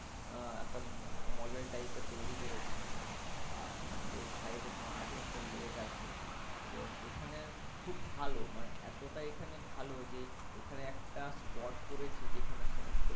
আহ একটা model type এর তৈরি করেছে। আর এর side এ তোমার আছে একটা lake আছে এবং এখানে খুব ভালো মানে এতটা এখানে ভালো যে এখানে একটা spot করেছে যেখানে সমস্ত